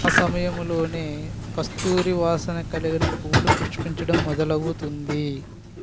ఆ సమయంలోనే కస్తూరి వాసన కలిగిన పూలు పుష్పింఛడం మెదల్వౌతుంది